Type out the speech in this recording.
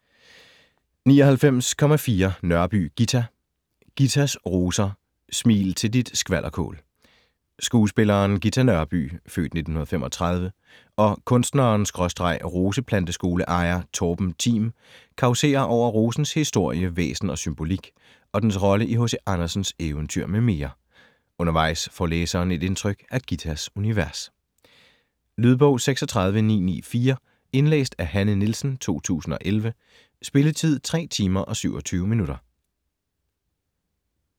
99.4 Nørby, Ghita Ghitas roser: smil til dit skvalderkål Skuespilleren Ghita Nørby (f. 1935) og kunstneren/roseplanteskoleejer Torben Thim causerer over rosens historie, væsen og symbolik og dens rolle i H.C. Andersens eventyr med mere. Undervejs får læseren et indtryk af Ghitas univers. Lydbog 36994 Indlæst af Hanne Nielsen, 2011. Spilletid: 3 timer, 27 minutter.